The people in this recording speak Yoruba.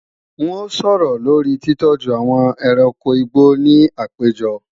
N ó sọ̀rọ̀ lórí titọ́jú àwọn ẹranko igbó ní àpéjọ